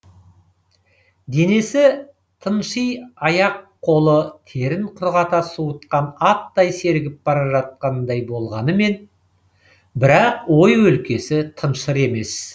денесі тыншй аяқ қолы терін құрғата суытқан аттай сергіп бара жатқандай болғанымен бірақ ой өлкесі тыншыр емес